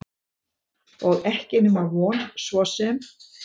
Og ekki nema von svo sem.